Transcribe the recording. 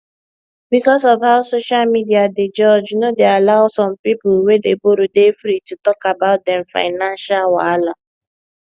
because of how social media dey judge no dey allow some people wey dey borrow dey free to talk about dem financial wahala